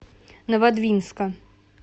новодвинска